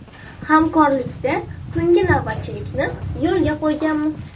Hamkorlikda tungi navbatchilikni yo‘lga qo‘yganmiz.